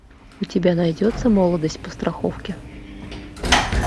у тебя найдется молодость по страховке